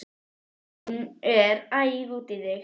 Hún er æf út í þig.